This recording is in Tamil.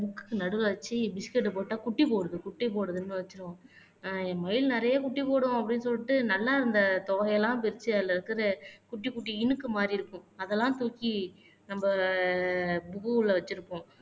புக்க்கு நடுவுல வச்சு பிஸ்கட்ட போட்டா குட்டி போடுது குட்டி போடுதுன்னு வச்சுருவோம் ஆஹ் என் மயில் நிறைய குட்டி போடும் அப்படின்னு சொல்லிட்ட நல்லா இருந்த தொகையெல்லாம் பிரிச்சு அதுல இருக்குது குட்டி குட்டி இனுக்கு மாதிரி இருக்கும் அதெல்லாம் தூக்கி நம்ப புக்குள்ள வெச்சிருக்கோம்